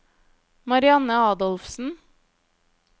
Marianne Adolfsen